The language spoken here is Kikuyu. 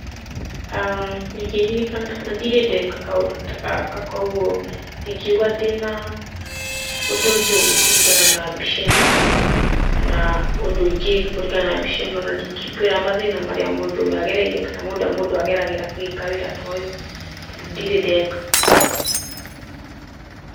Ndingĩririkana tondũ ndirĩ ndeka kaũndũ ta gaka kuũguo ndingiuga ndĩna ũndũ njũĩ kũringana na mbica ĩno, kana ũndũ ingĩka kũringana na mbica ĩno na ndingĩkwĩra mathĩna marĩa mũndũ ũyũ agereire kana marĩa mũndũ ageragĩra agĩka ũndũ ta ũyũ tondũ ndirĩ ndeka.